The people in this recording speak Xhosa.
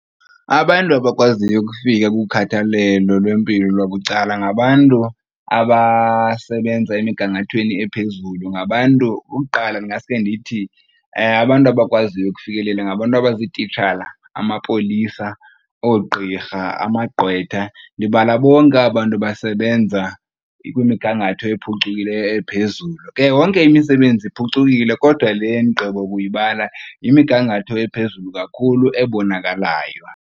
Abantu abakwaziyo ukufika kukhathalelo lwempilo lwabucala ngabantu abasebenza emigangathweni ephezulu, ngabantu uqala ndingasuke ndithi abantu abakwaziyo ukufikelela ngabantu abazititshala, amapolisa, oogqirha, amagqwetha ndibala bonke aba bantu basebenza kwimigangatho ephucukileyo ephezulu. Ke yonke imisebenzi iphucukile kodwa le endigqibo kuyibala yimigangatho ephezulu kakhulu ebonakalayo.